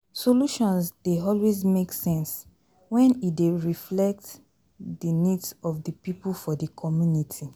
solutions dey always make sense when e dey reflect di needs of di pipo for di commnity